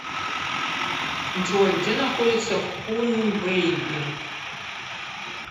джой где находится хунвэйбин